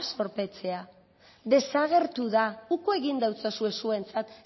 zorpetzea desagertu da uko egin deutsozue zuentzat